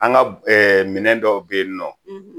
An ka minɛw dɔw bɛ yen nɔ